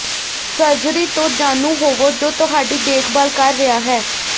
surgery ਤੋਂ ਜਾਣੂ ਹੋਵੋ ਜੋ ਤੁਹਾਡੀ ਦੇਖਭਾਲ ਕਰ ਰਿਹਾ ਹੈ